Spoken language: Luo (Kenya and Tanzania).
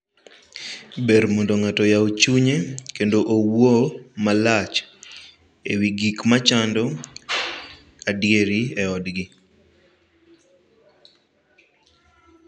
Ber mondo ng'ato oyaw chunye kendo owuo malach e wii gik machando adieri e odgi.